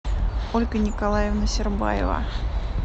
ольга николаевна сербаева